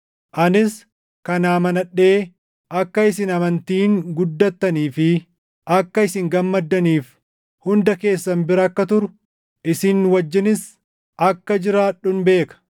Anis kana amanadhee akka isin amantiin guddattanii fi akka isin gammaddaniif hunda keessan bira akka turu, isin wajjinis akka jiraadhun beeka.